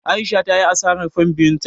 A'isha ta yi asarar fan biyun ta.